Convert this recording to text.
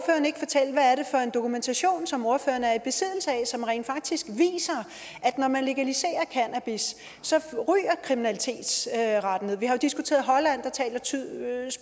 for en dokumentation som ordføreren er i besiddelse af som rent faktisk viser at når man legaliserer cannabis så ryger kriminalitetsraten ned vi har diskuteret holland